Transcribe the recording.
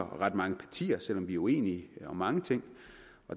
ret mange partier selv om vi er uenige om mange ting